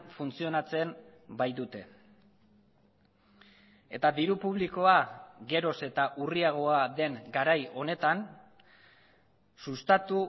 funtzionatzen baitute eta diru publikoa geroz eta urriagoa den garai honetan sustatu